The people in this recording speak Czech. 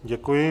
Děkuji.